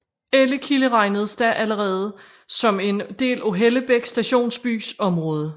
Ellekilde regnedes da allerede som en del af Hellebæk stationsbys område